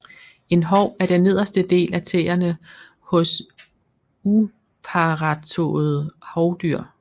En hov er den nederste del af tæerne hos Uparrettåede hovdyr